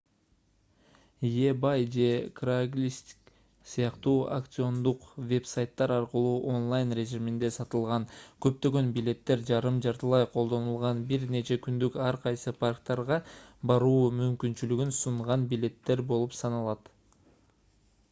ebay же craigslist сыяктуу аукциондук веб-сайттар аркылуу онлайн режиминде сатылган көптөгөн билеттер жарым-жартылай колдонулган бир нече күндүк ар кайсы парктарга баруу мүмкүнчүлүгүн сунган билеттер болуп саналат